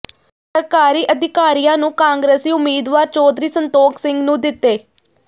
ਸਰਕਾਰੀ ਅਧਿਕਾਰੀਆਂ ਨੂੰ ਕਾਂਗਰਸੀ ਉਮੀਦਵਾਰ ਚੌਧਰੀ ਸੰਤੋਖ ਸਿੰਘ ਨੂੰ ਦਿੱਤੇ